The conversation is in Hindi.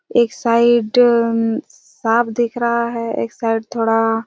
एक साइड अम साफ़ दिख रहा है एक साइड थोड़ा--